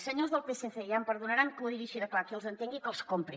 senyors del psc ja em perdonaran que ho digui així de clar qui els entengui que els compri